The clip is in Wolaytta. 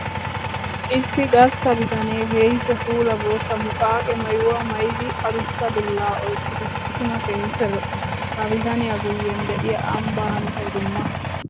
Issi gastta bitanee keehippe puulla bootta muqaqe maayuwa maayiddi adussa dulla oyqqiddi tuma keehippe lo'ees. Ha bitaniya guyen de'iya ambba hanotay dumma.